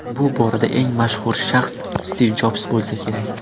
Bu borada eng mashhur shaxs Stiv Jobs bo‘lsa kerak.